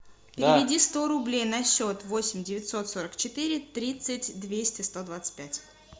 переведи сто рублей на счет восемь девятьсот сорок четыре тридцать двести сто двадцать пять